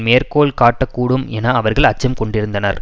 மேற்கோள் காட்டக்கூடும் என அவர்கள் அச்சம் கொண்டிருந்தனர்